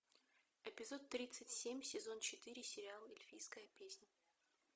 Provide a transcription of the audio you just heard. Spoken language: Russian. эпизод тридцать семь сезон четыре сериал эльфийская песнь